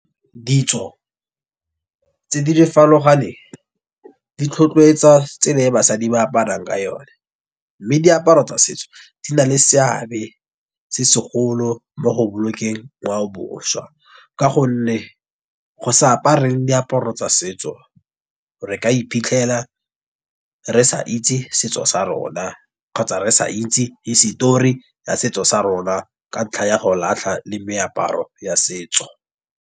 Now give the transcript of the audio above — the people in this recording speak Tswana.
Ditso tse di di tlhotlhwetsa tsela ya basadi ba aparang ka yone. Mme diaparo tsa setso di na le seabe se segolo mo go bolokeng ngwao boswa. Ka gonne, go sa apare diaparo tsa setso, re ka iphitlhela re sa itse setso sa rona, kgotsa re sa itse hisetori ya setso sa rona, ka ntlha ya golatlha le meaparo ya setso.